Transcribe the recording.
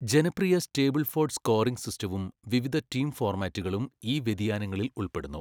ജനപ്രിയ Stableford scoring സിസ്റ്റവും വിവിധ ടീം ഫോർമാറ്റുകളും ഈ വ്യതിയാനങ്ങളിൽ ഉൾപ്പെടുന്നു.